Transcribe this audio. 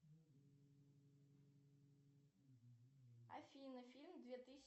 афина фильм две тысячи